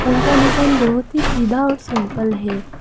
पुल का डिजाइन बहोत ही सीधा और सिंपल है।